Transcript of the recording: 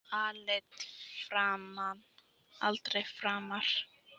Aldrei framar.